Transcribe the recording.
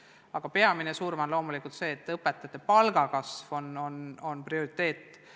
Aga peamine surve on loomulikult see, et õpetajate palga kasv on prioriteet.